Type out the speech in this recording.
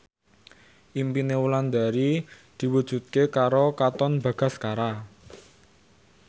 impine Wulandari diwujudke karo Katon Bagaskara